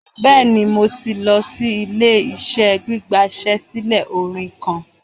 Bẹẹni, Mo ti lọ si ile-iṣẹ gbigbasilẹ orin kan